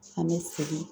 An bɛ segin